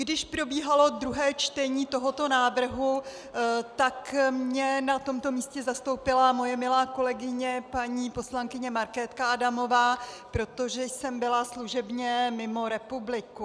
Když probíhalo druhé čtení tohoto návrhu, tak mě na tomto místě zastoupila moje milá kolegyně paní poslankyně Markétka Adamová, protože jsem byla služebně mimo republiku.